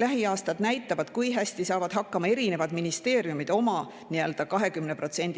Lähiaastad näitavad, kui hästi saavad hakkama erinevad ministeeriumid oma